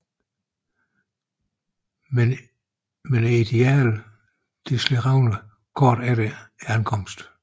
Men idealet slår revner kort efter ankomsten